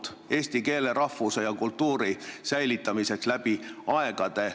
See on loodud eesti keele, rahvuse ja kultuuri säilitamiseks läbi aegade.